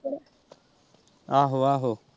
ਆਹੋ ਆਹੋ।